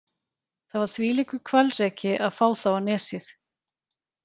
Það var þvílíkur hvalreki að fá þá á Nesið.